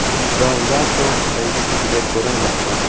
Davlatov raisligida ko‘rilmoqda.